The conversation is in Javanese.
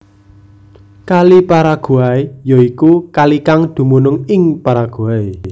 Kali Paraguay ya iku kalikang dumunung ing Paraguay